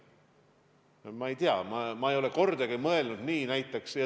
Aga ma ei tea, ma ei ole kordagi niimoodi mõelnud.